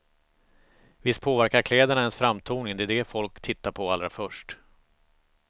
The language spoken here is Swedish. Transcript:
Visst påverkar kläderna ens framtoning, det är det folk tittar på allra först.